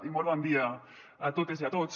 i molt bon dia a totes i a tots